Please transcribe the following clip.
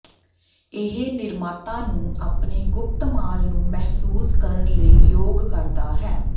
ਇਹ ਨਿਰਮਾਤਾ ਨੂੰ ਆਪਣੇ ਗੁਪਤ ਮਾਲ ਨੂੰ ਮਹਿਸੂਸ ਕਰਨ ਲਈ ਯੋਗ ਕਰਦਾ ਹੈ